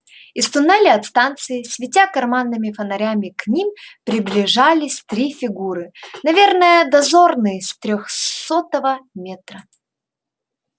из туннеля от станции светя карманными фонарями к ним приближались три фигуры наверное дозорные с трёхсотого метра